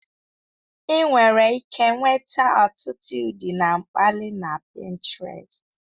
Ị nwere ike nweta ọtụtụ ụdị na mkpali na Pintrest.